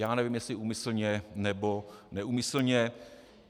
Já nevím, jestli úmyslně, nebo neúmyslně.